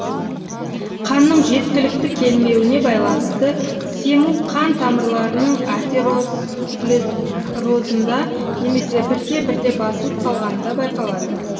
қанның жеткілікті келмеуіне байланысты сему қан тамырларының атеросклерозында немесе бірте бірте басылып қалғанында байқалады